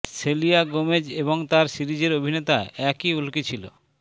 সেলিয়া Gomez এবং তার সিরিজের অভিনেতা একই উলকি ছিল